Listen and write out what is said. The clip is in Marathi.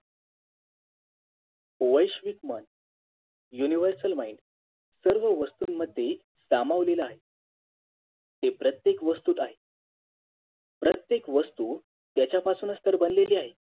वैश्विक मन Univarsal mind सर्व वस्तूंमध्ये सामावलेला आहे ते प्रत्येक वस्तूत आहेत प्रत्येक वस्तू त्यांच्यापासूनच तर बनलेली आहे